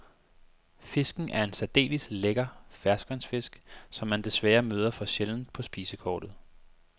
Fisken er en særdeles lækker ferskvandsfisk, som man desværre møder for sjældent på spisekortet.